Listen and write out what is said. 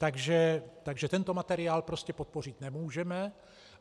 Takže tento materiál prostě podpořit nemůžeme.